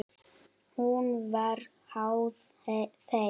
Hún var háð þeim.